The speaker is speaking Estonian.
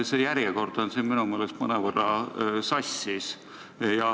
See järjekord on minu meelest mõnevõrra sassis.